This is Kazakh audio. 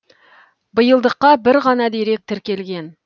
биылдыққа бір ғана дерек тіркелген